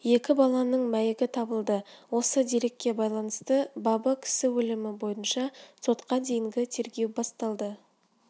екі баланың мәйіті табылды осы дерекке байланысты бабы кісі өлімі бойынша сотқа дейінгі тергеу басталды